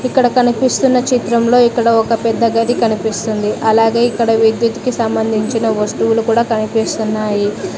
ఇక్కడ కనిపిస్తున్న చిత్రంలో ఇక్కడ ఒక పెద్ద గది కనిపిస్తుంది అలాగే ఇక్కడ విద్యుత్ కి సంబంధించిన వస్తువులు కూడా కనిపిస్తున్నాయి.